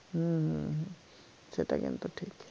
হম হম হম সেটা কিন্তু ঠিক